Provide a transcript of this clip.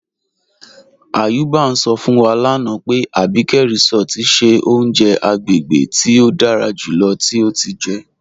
Ayuba n sọ fún wa lánà pé Àbíkẹ̀ Résọ̀tì ṣẹ ọ̀uǹjẹ̀ àgbégébè tí o dára júlọ̀ tí o ti jẹ́.